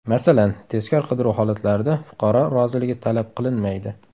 Masalan, tezkor qidiruv holatlarida fuqaro roziligi talab qilinmaydi.